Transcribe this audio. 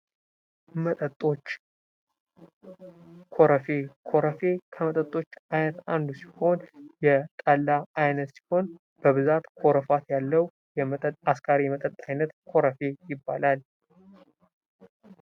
መጠጦች ኮረፌ ኮረፌ ከመጠጦች አንዱ ሲሆን የጠላ አይነት ሲሆን በብዛት ኮረፋት ያለው አስካሪ መጠጥ አይነት ኮረፌ ይባላል::